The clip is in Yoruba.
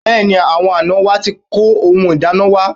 Bẹ́ẹ̀ni, àwọn àná wa ti kó ohun ìdána wa